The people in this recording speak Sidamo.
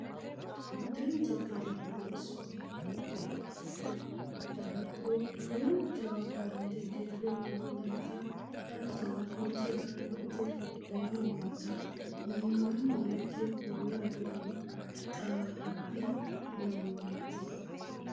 Dancha gede loonsoonni minira giddo daabbo duuchawa bande dirre worroonnita hatttono hincilaallote giddoonni noota iimaanni hige kuula afirino xawaabbi noowaati